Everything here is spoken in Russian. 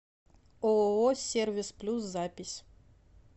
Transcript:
ооо сервис плюс запись